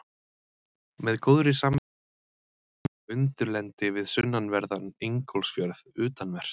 Með góðri samvisku er ekki hægt að tala um undirlendi við sunnanverðan Ingólfsfjörð, utanvert.